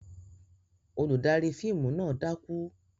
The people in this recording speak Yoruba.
Olùdarí fíìmù náà dákú?